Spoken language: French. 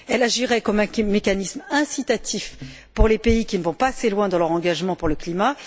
Elle agirait comme un mécanisme incitatif pour les pays qui ne vont pas assez loin dans leur engagement pour le climat